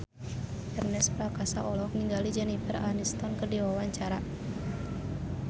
Ernest Prakasa olohok ningali Jennifer Aniston keur diwawancara